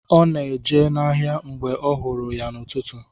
Ọ na-eje n’ahịa mgbe m hụrụ ya n’ụtụtụ.